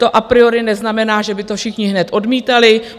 To a priori neznamená, že by to všichni hned odmítali.